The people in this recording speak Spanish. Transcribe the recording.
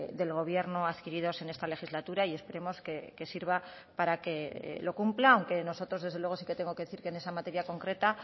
del gobierno adquiridos en esta legislatura y esperemos que sirva para que lo cumpla aunque nosotros desde luego sí que tengo que decir que en esa materia concreta